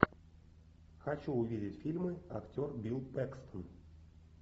хочу увидеть фильмы актер билл пэкстон